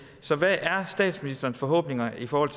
så hvad er statsministerens forhåbninger i forhold